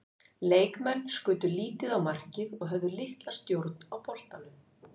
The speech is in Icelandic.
Leikmenn skutu lítið á markið og höfðu litla stjórn á boltanum.